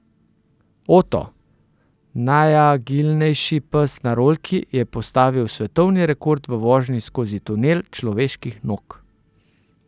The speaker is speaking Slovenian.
Oto, najagilnejši pes na rolki, je postavil svetovni rekord v vožni skozi tunel človeških nog.